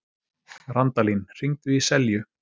Randalín, hringdu í Selju.